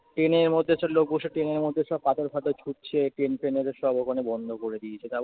ট্রেনের মধ্যে সব লোক বসে ট্রেনের মধ্যে সব পাথর ফাথর ছুঁড়ছে, train ফেন ওদের সব ওখানে বন্ধ করে দিয়েছে। তারপরে